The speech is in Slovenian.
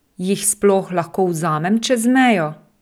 Jih sploh lahko vzamem čez mejo?